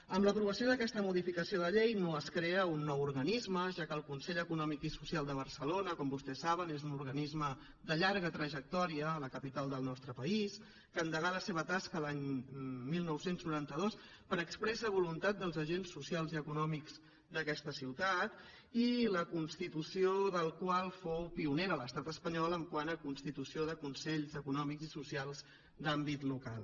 amb l’aprovació d’aquesta modificació de llei no es crea un nou organisme ja que el consell econòmic i social de barcelona com vostès saben és un organisme de llarga trajectòria a la capital del nostre país que endegà la seva tasca l’any dinou noranta dos per expressa voluntat dels agents socials i econòmics d’aquesta ciutat i la constitució del qual fou pionera a l’estat espanyol quant a constitució de consells econòmics i socials d’àmbit local